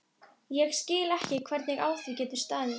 Þarna var skurður fullur af vatni.